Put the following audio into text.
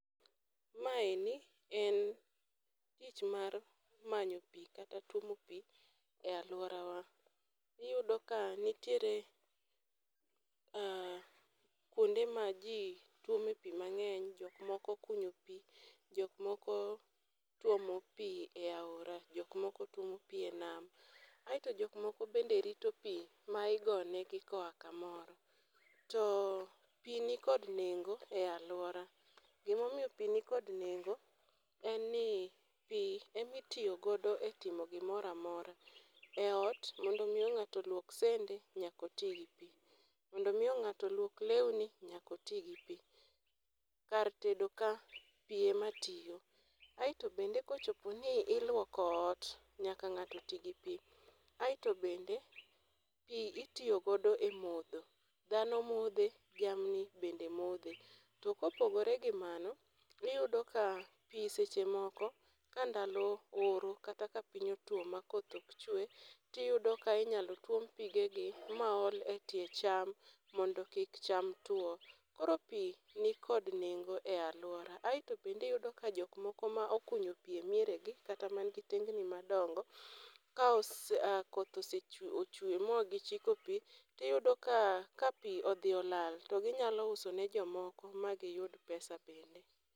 Maeni en tich mar manyo pi kata tuomo pi e alworawa. Iyudo ka nitiere kwonde ma ji tuome pi mang'eny, jok moko okunyo pi, jok moko tuomo pi e aora, jok moko tuomo pi e nam, aeto jok moko bende rito pi ma igonegi koa kamoro. To pi nikdo nengo e alwora, gimomiyo pi nikod nengo en ni pi emi tiyo godo e timo gimoro amora. E ot, mondo omi ng'ato olwok sende, nyaka oti gi pi. Mondo omi ng'ato olwok lewni, kar tedo ka, pi ema tiyo. Aeto bende kochopo ni ilwoko ot, nyaka ng'ato ti gi pi. Aeto bende pi itiyo godo e modho, dhano modhe to jamni bende modhe. To kopogore gi mano, iyudo ka pi seche moko ka ndalo oro kata ka piny otwo makoth ok chwe, tiyudo ka inyalo tuom pigegi ma ol e tie cham mondo kik cham tuwo. koro pi nikod nengo e alwora. aeto bende iyudo ka jok moko ma okunyo pi e mieregi kata mnigi tengni madongo, ka koth osechwe magichiko pi, tiyudo ka pi odhi olal, to ginyalo uso ne jomoko ma giyud pesa bende.